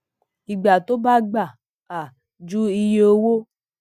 ìgbà tí ó bá gbà um ju iye owó